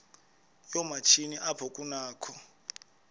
yoomatshini apho kunakho